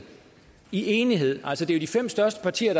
i enighed altså det er jo de fem største partier